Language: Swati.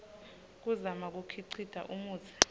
kuzama kukhicita umutsi